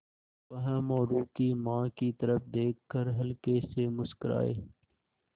वह मोरू की माँ की तरफ़ देख कर हल्के से मुस्कराये